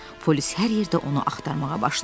Polis hər yerdə onu axtarmağa başladı.